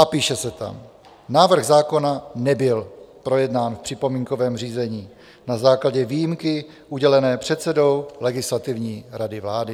A píše se tam: "Návrh zákona nebyl projednán v připomínkovém řízení na základě výjimky udělené předsedou Legislativní rady vlády.